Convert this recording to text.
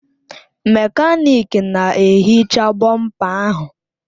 Mekaniki na-ehicha bọmpa ahụ.